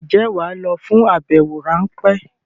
Ǹjẹ́ wà á lọ fún àbẹwò ráńpẹ́?